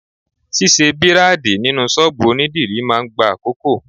Ṣisẹ́ Bírádìì nínú ṣọ́bùù onídìrí máa ń gba àkókò.